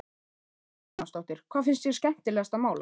Hödd Vilhjálmsdóttir: Hvað finnst þér skemmtilegast að mála?